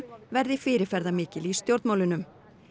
verði fyrirferðarmikil í stjórnmálunum